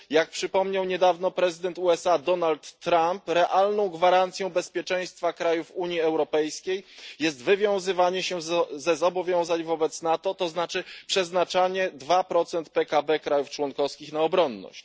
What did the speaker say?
Jak przypomniał niedawno prezydent USA Donald Trump, realną gwarancją bezpieczeństwa krajów Unii Europejskiej jest wywiązywanie się ze zobowiązań wobec NATO, to znaczy przeznaczanie 2 PKB państw członkowskich na obronność.